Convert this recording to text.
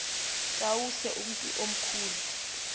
tawuse umntu omkhulu